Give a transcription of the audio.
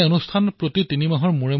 এই কাৰ্যসূচীৰ আয়োজন জুন মাহত হৈছিল